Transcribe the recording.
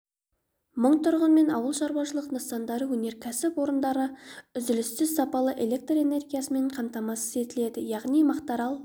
мың тұрғын мен ауыл шаруашылық нысандары өнеркәсіп орындарын үзіліссіз сапалы электр энергиясымен қамтамасыз етіледі яғни мақтаарал